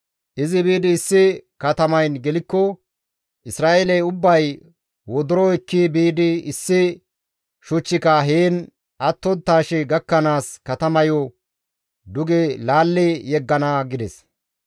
Izi biidi issi katamayn gelikko Isra7eeley ubbay wodoro ekki biidi issi shuchchika heen attonttaashe gakkanaas katamayo duge laalli yeggana» gides.